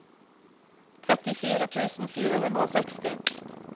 trettifire tusen fire hundre og seksti